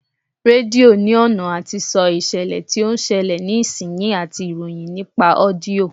Rédíò ní ọ̀nà àti sọ ìṣẹ̀lẹ̀ tí ó ń ṣẹlẹ̀ ní ìsinsìnyí àti ìròyìn nípa ọ́díọ̀